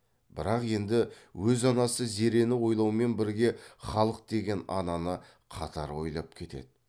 бірақ енді өз анасы зерені ойлаумен бірге халық деген ананы қатар ойлап кетеді